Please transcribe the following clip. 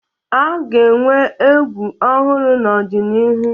A ga-enwe egwu ọhụrụ n'ọdịnihu